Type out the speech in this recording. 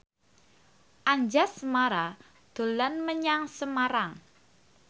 Anjasmara dolan menyang Semarang